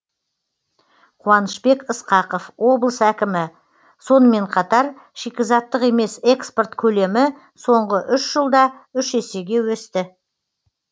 қуанышбек ысқақов облыс әкімі сонымен қатар шикізаттық емес экспорт көлемі соңғы үш жылда үш есеге өсті